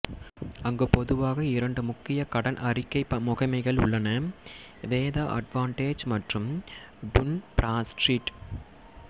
அங்கு பொதுவாக இரண்டு முக்கிய கடன் அறிக்கை முகமைகள் உள்ளன வேதா அட்வான்டெஜ் மற்றும் டுன் ப்ராட்ஸ்ட்ரீட்